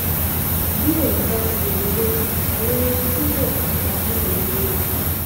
bí èèyàn bá ti lè rojọ́ ju àwọn ohun tí yóò máa bá a náà rèé o